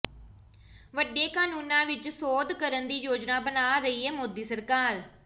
ਵੱਡੇ ਕਾਨੂੰਨਾਂ ਵਿੱਚ ਸੋਧ ਕਰਨ ਦੀ ਯੋਜਨਾ ਬਣਾ ਰਹੀ ਹੈ ਮੋਦੀ ਸਰਕਾਰ